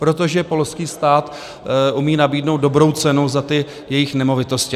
Protože polský stát umí nabídnout dobrou cenu za ty jejich nemovitosti.